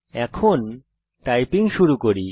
এখন টাইপিং শুরু করি